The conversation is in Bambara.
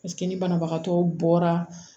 ni banabagatɔ bɔra